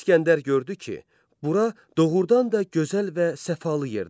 İsgəndər gördü ki, bura doğurdan da gözəl və səfalı yerdir.